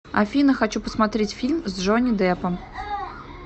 афина хочу посмотреть фильм с джонни депом